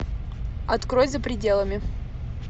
открой за пределами